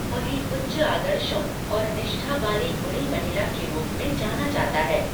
उन्हें उच्च आदर्शों और निष्ठा वाली गुणी महिला के रूप में जाना जाता है।